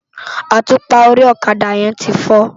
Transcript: Átúpá óri òkadá yèn ti fò